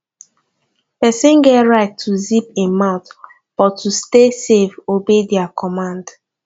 persin get right to zip im mouth but to stay safe obey their command